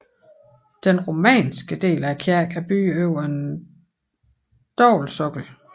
Den romanske del af kirken er bygget over en dobbeltsokkel